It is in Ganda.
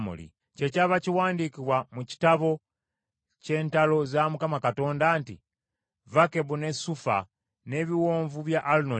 Kyekyava kiwandiikibwa mu Kitabo ky’Entalo za Mukama Katonda, nti, “Zakabu ne Sufa, n’ebiwonvu bya Alunoni,